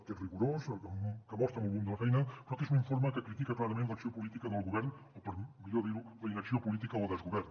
que és rigorós que mostra molt volum de la feina però que és un informe que critica clarament l’acció política del govern o per millor dir ho la inacció política o desgovern